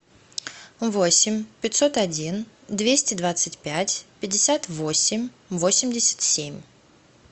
восемь пятьсот один двести двадцать пять пятьдесят восемь восемьдесят семь